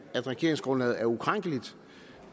at regeringsgrundlaget er ukrænkeligt